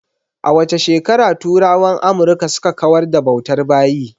A wace shekara turawan Amurka suka kawar da bautar bayi?